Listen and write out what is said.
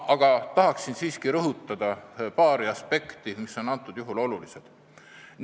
Aga ma tahan siiski rõhutada paari aspekti, mis on antud juhul olulised.